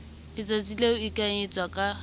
letsatsing leo e entsweng ka